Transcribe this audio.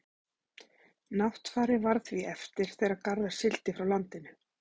náttfari varð því eftir þegar garðar sigldi frá landinu